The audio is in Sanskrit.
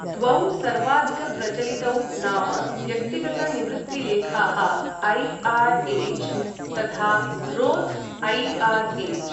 द्वौ सर्वाधिकप्रचलितौ नाम व्यक्तिगतनिवृत्तिलेखाः ऐ.आर्.एज् तथा रोथ् ऐ.आर्.एज्.।